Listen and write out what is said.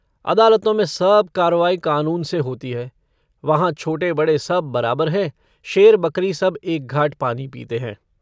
अदालतों में सब कार्रवाई कानून से होती है। वहाँ छोटे-बड़े सब बराबर हैं। शेर-बकरी सब एक घाट पानी पीते हैं।